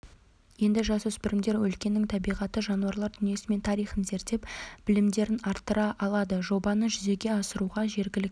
енді жасөспірімдер өлкенің табиғаты жануарлар дүниесі мен тарихын зерттеп білімдерін арттыра алады жобаны жүзеге асыруға жергілікті